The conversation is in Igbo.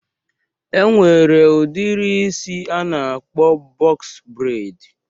E nwere udiri isi a na-akpọ bọks breid